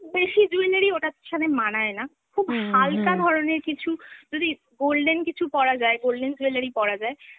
বেশি jewelry ওটার সাথে মানায় না। খুব হালকা ধরনের কিছু, যদি golden কিছু পরা যায়, golden jewelry পরা যায়